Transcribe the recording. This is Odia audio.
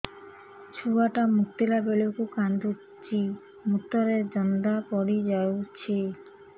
ଛୁଆ ଟା ମୁତିଲା ବେଳକୁ କାନ୍ଦୁଚି ମୁତ ରେ ଜନ୍ଦା ପଡ଼ି ଯାଉଛି